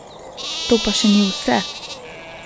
To pa še ni vse!